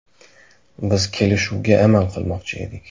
Biz kelishuvga amal qilmoqchi edik.